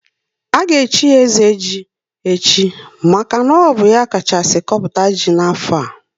A ga echi ya ezeji echi maka na ọ bụ ya kachasiri kpọpụta ji na afo a